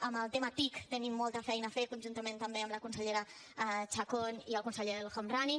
amb el tema tic tenim molta feina a fer conjuntament també amb la consellera chacón i el conseller el homrani